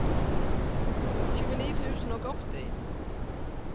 tjueni tusen og åtti